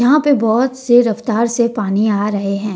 यहां पे बहोत से रफ्तार से पानी आ रहे हैं।